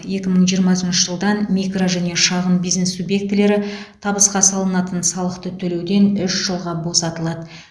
екі мың жиырмасыншы жылдан микро және шағын бизнес субъектілері табысқа салынатын салықты төлеуден үш жылға босатылады